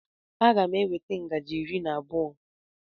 M ga-eweta ngaji iri na abụọ.